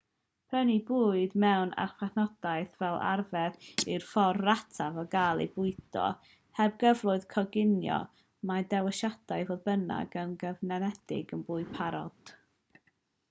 prynu bwyd mewn archfarchnadoedd fel arfer yw'r ffordd rataf o gael eich bwydo heb gyfleoedd coginio mae dewisiadau fodd bynnag yn gyfyngedig i fwyd parod